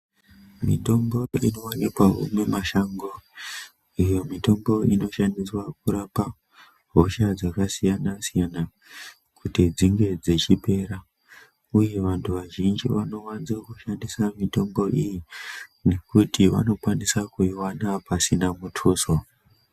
Mitombo inowanikwawo mumashango ,iyo mitombo inoshandiswa kurapa hosha dzakasiyana siyana kuti dzinge dzechipera ,uye vanthu vazhinji vanowanze kushandisa mitombo iyi ,ngekuti vanokwanisa kuiwana pasina mutuso.